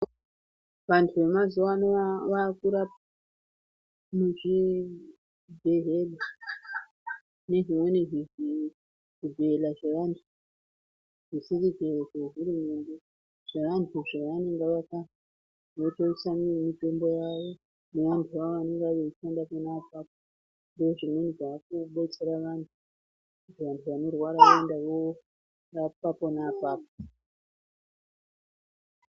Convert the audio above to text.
Vantu vemazuwano vantu vakurapwa muzvibhedhlera nezvimweni zvibhedhlera zvevantu zvisiri zvehurumende zvevantu zvavanenge vaka votoisa mitombo yavo nevantuvo vanenge veishanda pona apapo ndozvimweni zvakudetsera vantu kuti vantu vanorwara voenda vorapwa pona apapo.